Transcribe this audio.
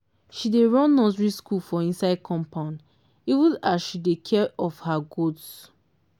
she dey run nursery school for inside compound even as she dey take care of her goats.